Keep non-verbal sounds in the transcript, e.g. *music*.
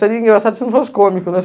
Seria engraçado se não fosse cômico, né? *laughs*